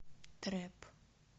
трэп